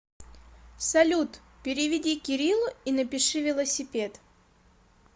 салют переведи кириллу и напиши велосипед